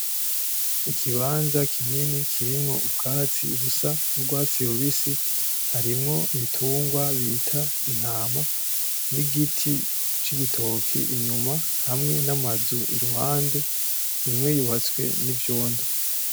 Ikibanza kinini kirimwo ubwatsi busa n'urwatsi rubisi, harimwo igitungwa bita Intama n'igiti c'igitoke inyuma ,hamwe n'amazu iruhande imwe yubatswe n'ivyondo.